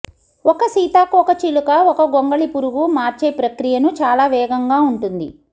ఒక సీతాకోకచిలుక ఒక గొంగళిపురుగు మార్చే ప్రక్రియను చాలా వేగంగా ఉంటుంది